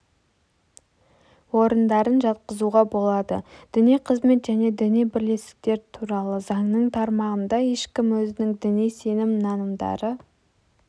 орындарын жатқызуға болады діни қызмет және діни бірлестіктер туралы заңның тармағында ешкім өзінің діни сенім-нанымдары